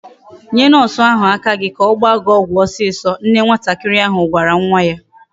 Nye nurse aka gi ka ogba gi ogwu osiso. Nne nwatakari ahu gwara nwa ya